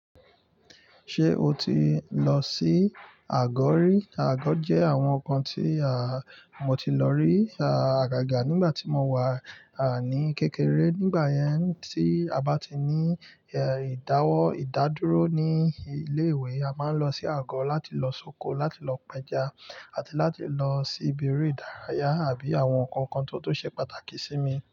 Ṣé o ti lọ sí àgọ́ rí? Àgọ́ jẹ́ àwọn nnkan tí mo ti lọ rí. Àgàgà nígbà tí mo wà ní kékeré. Nígbà yẹn tí a bá ti ní ìdáwọ́, ìdádúró ní ilé ìwé a máa ń lọ sí àgọ́ láti lọ sóko láti lọ pẹja àti láti lọ sí ibi eré ìdárayá àbí àwọn ǹkan kan tó ṣe pàtàkì sí mi.